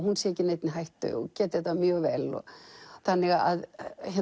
sé ekki í neinni hættu og geti þetta mjög vel þannig að